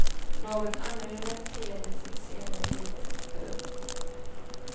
Något annorlunda ter det sig senare i livet. punkt